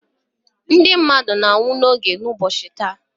ndị mmadụ na-anwụ gị ụbọchị taa.